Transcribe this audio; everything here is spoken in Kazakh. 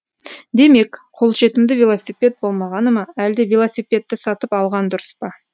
демек қолжетімді велосипед болмағаны ма әлде велосипедті сатып алған дұрыс па